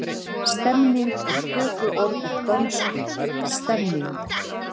Stemning er tökuorð úr dönsku stemning.